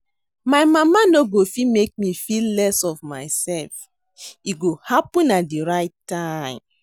My mama no go fit make me feel less of myself, e go happen at the right time